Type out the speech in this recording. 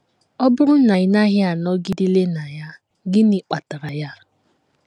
Ọ bụrụ na ị naghị anọgideli na ya, gịnị kpatara ya?